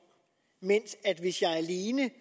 men hvis jeg alene